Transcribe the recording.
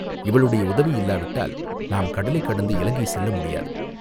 இவளுடைய உதவி இல்லாவிட்டால் நாம் கடலைக் கடந்து இலங்கை செல்ல முடியாது.